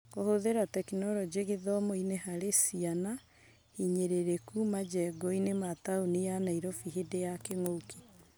Kũhũthĩra tekinoronjĩ gĩthomo-inĩ harĩ ciana hinyĩrĩrĩku majengoinĩ ma taũni ya Nairobi hĩndĩ ya kĩng'ũki.